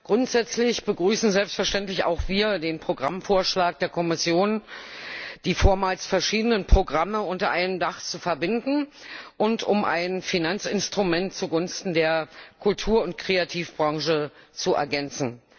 Grundsätzlich begrüßen selbstverständlich auch wir den Programmvorschlag der Kommission, die vormals verschiedenen Programme unter einem Dach zu verbinden und um ein Finanzinstrument zugunsten der Kultur und Kreativbranche zu ergänzen.